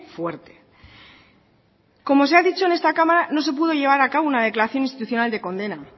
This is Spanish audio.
fuerte como se ha dicho en esta cámara no se pudo llevar a cabo una declaración institucional de condena